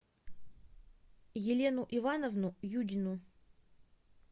елену ивановну юдину